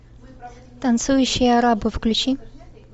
танцующие арабы включи